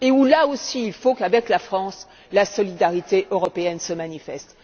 Là aussi, il faut qu'avec la France la solidarité européenne se manifeste.